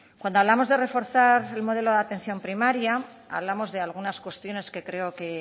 cuando hablamos de reforzar el modelo de atención primaria hablamos de algunas cuestiones que creo que